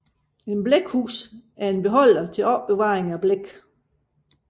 Et blækhus er en beholder til opbevaring af blæk